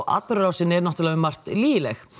atburðarásin um margt lygileg